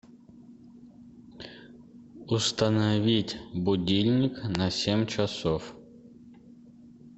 установить будильник на семь часов